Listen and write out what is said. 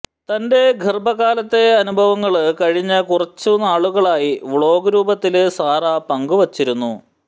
തന്റെ ഗര്ഭകാലത്തെ അനുഭവങ്ങള് കഴിഞ്ഞ കുറച്ചു നാളുകളായി വ്ലോഗ് രൂപത്തില് സാറ പങ്കുവച്ചിരുന്നു